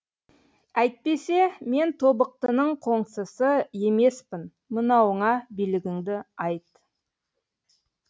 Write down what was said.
әйтпесе мен тобықтының қоңсысы емеспін мынауыңа билігіңді айт